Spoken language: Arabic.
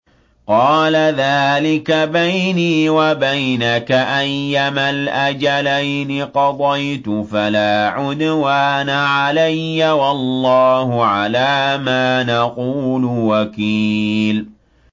قَالَ ذَٰلِكَ بَيْنِي وَبَيْنَكَ ۖ أَيَّمَا الْأَجَلَيْنِ قَضَيْتُ فَلَا عُدْوَانَ عَلَيَّ ۖ وَاللَّهُ عَلَىٰ مَا نَقُولُ وَكِيلٌ